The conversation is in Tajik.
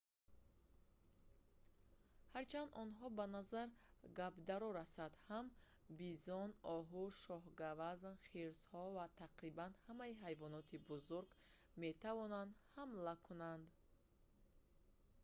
ҳарчанд онҳо ба назар гапдаро расанд ҳам бизон оҳу шоҳгавазн хирсҳо ва тақрибан ҳамаи ҳайвоноти бузург метавонанд ҳамла кунанд